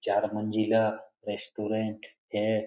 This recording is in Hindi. चार मंजिला रेस्टोरेंट है।